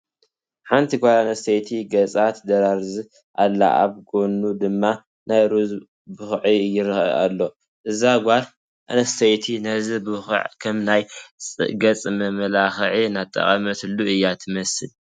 ሓንቲ ጓል ኣነስተይቲ ገፃ ትደራርዝ ኣላ፡፡ ኣብ ጐና ድማ ናይ ሩዝ ቡኽዒ ይርአ ኣሎ፡፡ እዛ ጓል ኣነስተይቲ ነዚ ቡኽዒ ከም ናይ ገፅ መመላክዒ እናተጠቐመትሉ እያ ትመስል፡፡